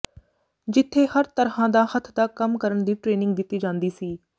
ਜਿੱਥੇ ਹਰ ਤਰ੍ਹਾਂ ਦਾ ਹੱਥ ਦਾ ਕੰਮ ਕਰਨ ਦੀ ਟਰੇਨਿੰਗ ਦਿੱਤੀ ਜਾਂਦੀ ਸੀ